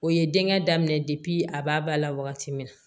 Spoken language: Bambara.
O ye denkɛ daminɛ a b'a ba la wagati min na